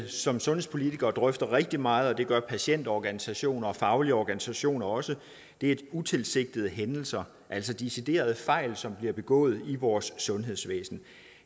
som sundhedspolitikere drøfter rigtig meget og det gør patientorganisationer og faglige organisationer også er utilsigtede hændelser altså deciderede fejl som bliver begået i vores sundhedsvæsen